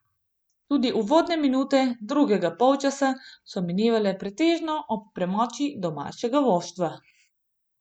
Tudi uvodne minute drugega polčasa so minevale pretežno ob premoči domačega moštva.